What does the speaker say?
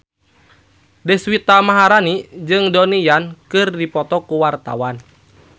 Deswita Maharani jeung Donnie Yan keur dipoto ku wartawan